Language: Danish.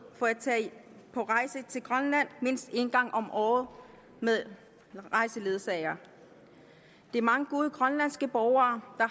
for at tage på rejse til grønland mindst en gang om året med rejseledsager de mange gode grønlandske borgere